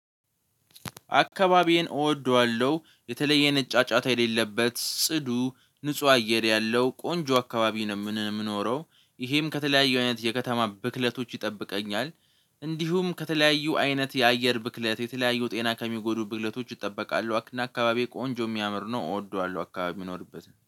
አካባቢዬን እወደዋለሁ የተለየ አይነት ጫጫታ የሌለበት ጽዱ ንጹህ አየር ያለው ቆንጆ አካባቢ ነው። የምኖረው ይሄም ከተለያዩ አይነት የከተማ ብክለቶች ይጠብቀኛል። እንዲሁም ከተለያዩ አይነት የአየር ብክለት የተለያዩ ጤና ከሚጎዱ ብክለቶች ይጠበቃሉ። አክና አካባቢ ቆንጆ የሚያምር ነው። እወደዋለሁ አካባቢ የሚኖርበት